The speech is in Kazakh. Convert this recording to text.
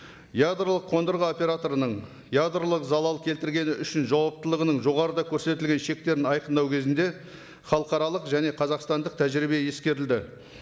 ядролық қондырғы операторының ядролық залал келтіргені үшін жауаптылығының жоғарыда көрсетілген шектерін айқындау кезінде халықаралық және қазақстандық тәжірибе ескерілді